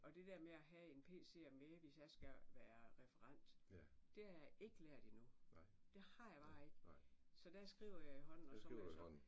Og det der med at have en pc med hvis jeg skal være referent det har jeg ikke lært endnu. Det har jeg bare ikke så der skriver jeg i hånden og så må jeg så